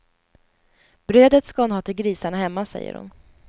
Brödet ska hon ha till grisarna hemma, säger hon.